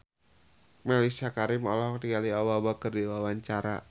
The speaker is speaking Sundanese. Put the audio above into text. Mellisa Karim olohok ningali Obama keur diwawancara